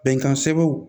Bɛnkan sebew